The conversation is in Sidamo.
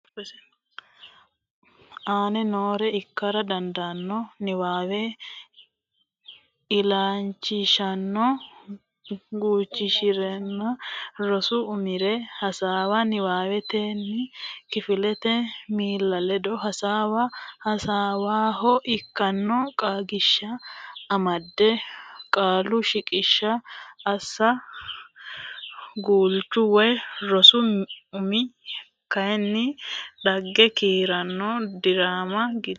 aane noore ikkara dandaanno Niwaawe illachishshanno guulchirenna rosu umire hasaawa Niwaawennire kifilete miilla ledo hasaawa Hasaawaho ikkanno qaagiishsha amada Qaalu shiqishsha assa Guulchu woy rosu umi kaiminni dhagge kiironna diraama godo.